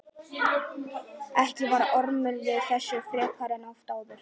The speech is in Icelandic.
Ekki var Ormur við messu frekar en oft áður.